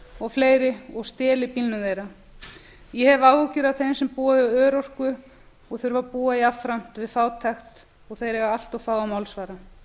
og fleiri og steli bílnum þeirra ég hef áhyggjur af þeim sem búa við örorku og þurfa að búa jafnframt við fátækt þeir eiga allt of fáa málsvara